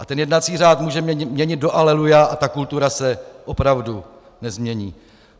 A ten jednací řád můžeme měnit do aleluja a ta kultura se opravdu nezmění.